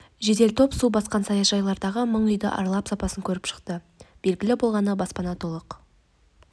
жедел топ су басқан саяжайлардағы мың үйді аралап сапасын көріп шықты белгілі болғаны баспана толық